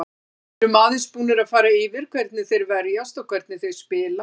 Við erum aðeins búnir að fara yfir hvernig þeir verjast og hvernig þeir spila.